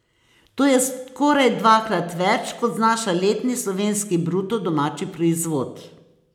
To je skoraj dvakrat več, kot znaša letni slovenski bruto domači proizvod.